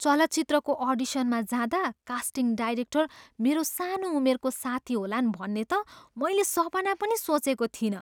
चलचित्रको अडिसनमा जाँदा कास्टिङ डाइरेक्टर मेरो सानो उमेरको साथी होलान् भन्ने त मैले सपना पनि सोचेको थिइनँ।